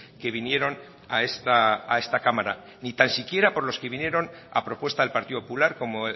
que vinieron a esta cámara ni tan siquiera por los que vinieron a propuesta del partido popular como